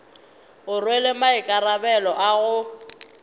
o rwele maikarabelo a go